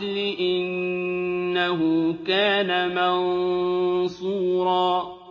ۖ إِنَّهُ كَانَ مَنصُورًا